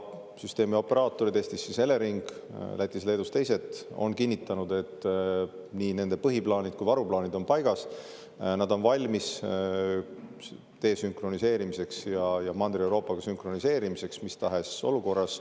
Ja süsteemioperaatorid – Eestis siis Elering, Lätis-Leedus teised – on kinnitanud, et nii nende põhiplaanid kui ka varuplaanid on paigas, nad on valmis desünkroniseerimiseks ja Mandri-Euroopaga sünkroniseerimiseks mis tahes olukorras.